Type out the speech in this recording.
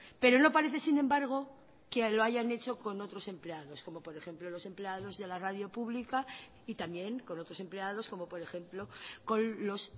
pero no parece sin embargo que lo hayan hecho con otros empleados como por ejemplo los empleados de la radio pública y también con otros empleados como por ejemplo con los